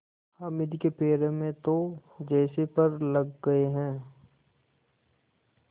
हामिद के पैरों में तो जैसे पर लग गए हैं